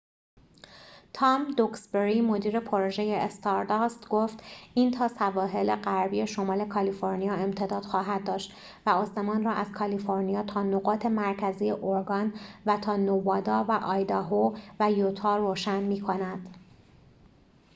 تام دوکسبری مدیر پروژه استارداست گفت این تا سواحل غربی شمال کالیفرنیا امتداد خواهد داشت و آسمان را از کالیفرنیا تا نقاط مرکزی اورگان و تا نوادا و آیداهو و یوتا روشن می کند